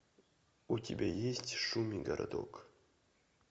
у тебя есть шуми городок